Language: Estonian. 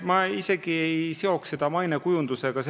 Ma isegi ei seoks seda mainekujundusega.